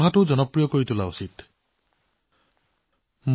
মোৰ মৰমৰ দেশবাসীসকল শেহতীয়াকৈ মোৰ মন এক আকৰ্ষণীয় প্ৰচেষ্টাৰ প্ৰতি আকৰ্ষিত হৈছে